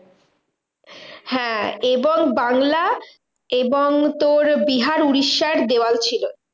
হ্যাঁ এবং বাংলা এবং তোর বিহার উড়িষ্যার দেওয়াল ছিল।